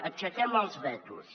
aixequem els vetos